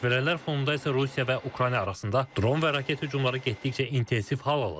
Baş verənlər fonunda isə Rusiya və Ukrayna arasında dron və raket hücumları getdikcə intensiv hal alır.